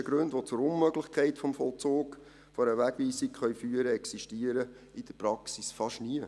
Die technischen Gründe, die zur Unmöglichkeit des Vollzugs einer Wegweisung führen können, existieren in der Praxis fast nie.